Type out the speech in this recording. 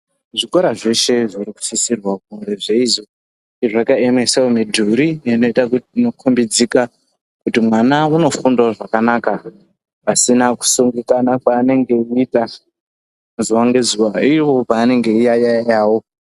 Zvikora zveshe zviri kusisrwa kunge zveizo zvakaemesawo mudhuri ineita kuti inokombidzika kuti mwana unofundawo zvakanaka pasina kusungikana kwaanenge eiita zuwa ngezuwa ivo pavanenge veiyayawo.